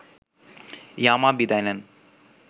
ইয়ামা বিদায় নেন